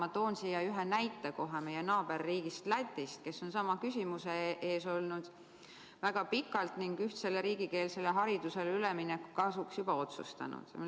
Ma toon siin ühe näite meie naaberriigist Lätist, kes on väga pikalt sama küsimuse ees olnud ning ühtsele riigikeelsele haridusele ülemineku kasuks juba otsustanud.